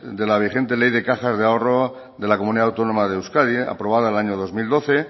de la vigente ley de cajas de ahorro de la comunidad autónoma de euskadi aprobada el año dos mil doce